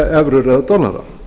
evrur eða dollara